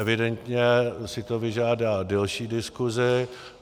Evidentně si to vyžádá delší diskusi.